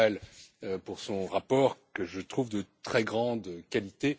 Maurel, pour son rapport que je trouve de très grande qualité.